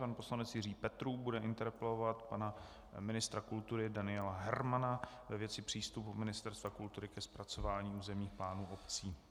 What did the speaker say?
Pan poslanec Jiří Petrů bude interpelovat pana ministra kultury Daniela Hermana ve věci přístupu Ministerstva kultury ke zpracování územních plánů obcí.